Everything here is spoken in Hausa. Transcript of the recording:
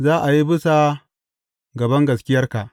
Za a yi bisa ga bangaskiyarka.